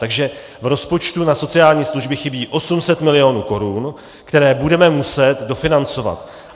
Takže v rozpočtu na sociální služby chybí 800 mil. korun, které budeme muset dofinancovat.